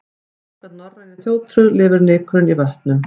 Samkvæmt norrænni þjóðtrú lifur nykurinn í vötnum.